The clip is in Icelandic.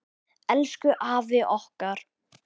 Elsku afi okkar.